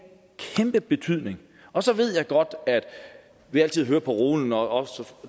kæmpe betydning og så ved jeg godt at vi altid hører parolen også